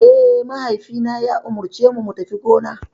Eh, mahaifina ya umarcemu mu tafi gona.